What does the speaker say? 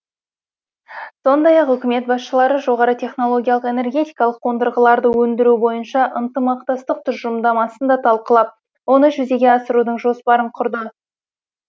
сондай ақ үкімет басшылары жоғары технологиялық энергетикалық қондырғаларды өндіру бойынша ынтымақтастық тұжырымдамасын да талқылап оны жүзеге асырудың жоспарын құрды